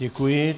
Děkuji.